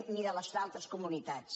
ni de les altres comunitats